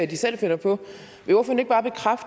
de selv finder på